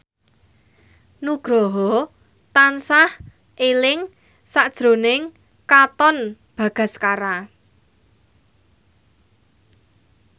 Nugroho tansah eling sakjroning Katon Bagaskara